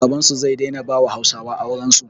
Babansu zai daina bawa hausawa aurensu